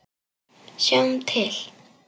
Sjáum til!